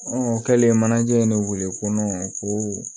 o kɛlen manaje ne weele ko nɔnɔ ko